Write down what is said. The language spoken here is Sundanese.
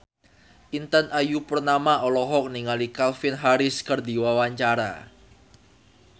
Intan Ayu Purnama olohok ningali Calvin Harris keur diwawancara